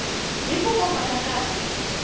hi ku famba ka nkarhi